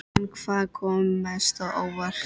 En hvað kom mest á óvart?